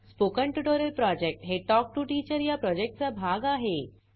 spoken tutorial project हे talk to teacher या प्रॉजेक्टचा भाग आहे